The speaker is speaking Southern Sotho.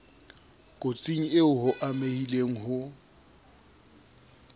kotsing eo o amehileng ho